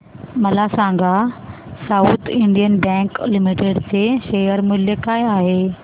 मला सांगा South Indian Bank Limited चे शेअर मूल्य काय आहे